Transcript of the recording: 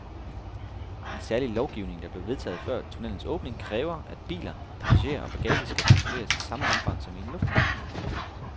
En særlig lovgivning, der blev vedtaget før tunnelens åbning, kræver, at biler, passagerer og bagage skal kontrolleres i samme omfang som i en lufthavn.